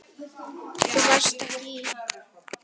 Lillý: Þú varst ekki í?